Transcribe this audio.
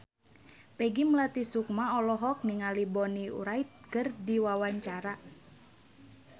Peggy Melati Sukma olohok ningali Bonnie Wright keur diwawancara